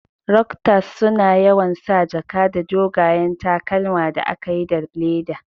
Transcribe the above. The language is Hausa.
Rokstas suna yawan sa jaka da dogayen takalma da aka yi da le'da.